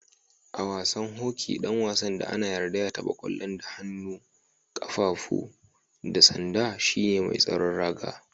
A'wasan hoki dan wasan da ana yarda ya tabba kwallon da kafafu, hannu da tsanda shine mai tsaron raga.